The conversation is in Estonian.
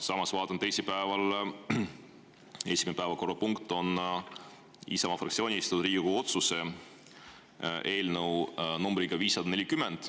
Samas, ma vaatan, et teisipäeval esimene päevakorrapunkt on Isamaa fraktsiooni esitatud Riigikogu otsuse eelnõu numbriga 540.